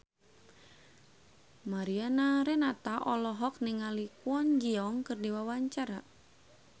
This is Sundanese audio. Mariana Renata olohok ningali Kwon Ji Yong keur diwawancara